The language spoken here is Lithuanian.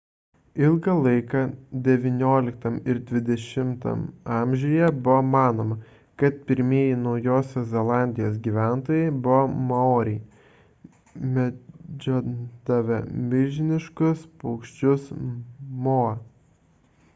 ilgą laiką xix ir xx amžiuje buvo manoma kad pirmieji naujosios zelandijos gyventojai buvo maoriai medžiodavę milžiniškus paukščius moa